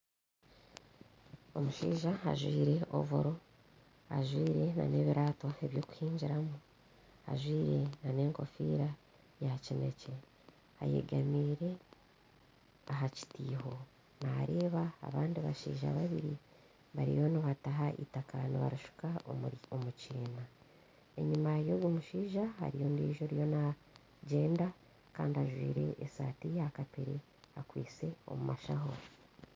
Omushaija ajwire ovoro ajwire n'ebiraato eby'okuhingiramu, ajwire n'enkofiira yaakinekye ayegamiire aha kitiiho naareeba abandi bashaija babiri bariyo nibataha itaka nibarishuka omu kiina, enyima y'ogwo mushaija hariyo ondiijo ariyo naagyenda kandi ajwire esaati ya kapere akwitse omu mashaho